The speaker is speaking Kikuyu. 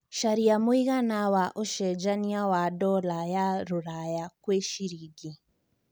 carĩa mũigana wa ũcenjanĩa wa dola ya rũraya kwĩ cĩrĩngĩ